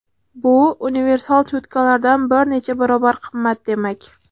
Bu universal cho‘tkalardan bir necha barobar qimmat demak.